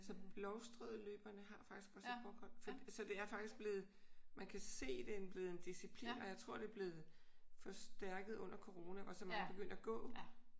Altså Blovstrødløberne har faktisk også et walkhold så det er faktisk blevet man kan se at det er blevet en disciplin. Og jeg tror det er blevet forstærket under corona hvor så mange begyndte at gå